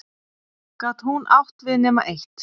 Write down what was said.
Gat hún átt við nema eitt?